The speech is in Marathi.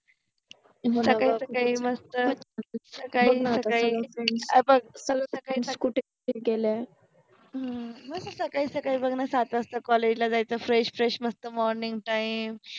सकाळि सकाळि मस्त केलय अम्म सकाळि सकाळि बघ न सात वाजता कॉलेज ला जायच फ्रेश फ्रेश मस्त मॉर्निंग टाईम